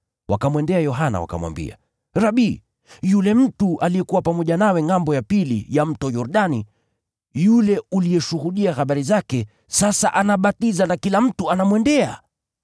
Wakamwendea Yohana wakamwambia, “Rabi, yule mtu aliyekuwa pamoja nawe ngʼambo ya Mto Yordani, yule uliyeshuhudia habari zake, sasa anabatiza na kila mtu anamwendea!”